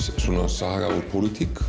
saga úr pólitík